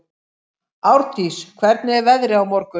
Árndís, hvernig er veðrið á morgun?